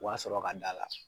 O a sɔrɔ ka d'a la